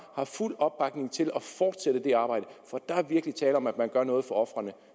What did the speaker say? har fuld opbakning til at fortsætte det arbejde for der er virkelig tale om at man gør noget for ofrene